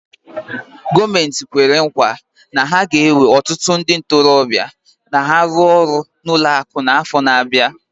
Gọọmenti kwere nkwa na ha ga-ewe ọtụtụ ndị ntorobịa n'ọrụ ka ha rụọ ọrụ na ụlọ akụ n'afọ na-abịa.